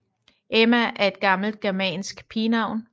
Emma er et gammelt germansk pigenavn